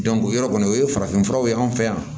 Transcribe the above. o yɔrɔ kɔni o ye farafinfuraw ye anw fɛ yan